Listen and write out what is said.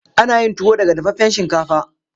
Ana yin tuwo daga dafaffen shinkafa.